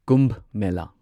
Kumbh Mela